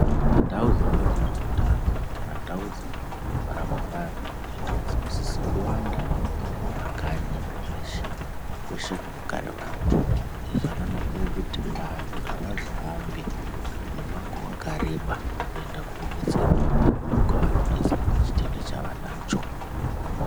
Ndau dzinoitwa ngezveutano, kana ndau dzinorapwa vantu, indau dzinosise kuwanda kumakanyi zveshe, kweshe kunogare vantu, Izvi zvakanakire kuti ,vantu avazohambi ,mumango wakareba, kuenda koodetserwa kwavanodetserwa, chitenda chavanonga vanacho.